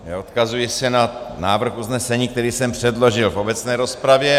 Odkazuji se na návrh usnesení, který jsem předložil v obecné rozpravě.